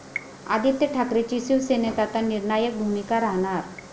आदित्य ठाकरेंची शिवसेनेत आता निर्णायक भूमिका राहणार!